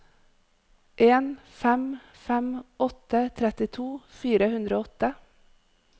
en fem fem åtte trettito fire hundre og åtte